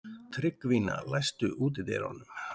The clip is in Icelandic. Tryggvína, læstu útidyrunum.